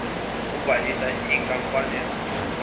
obhalisa izinkampani uzosula